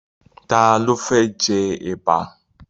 Ta ló fẹ́ jẹ Ẹ̀bà?